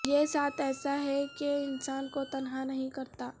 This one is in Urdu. یہ ساتھ ایسا ہے کہ انسان کو تنہا نہیں کرتا